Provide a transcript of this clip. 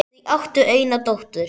Þau áttu eina dóttur.